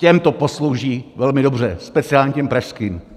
Těm to poslouží velmi dobře, speciálně těm pražským.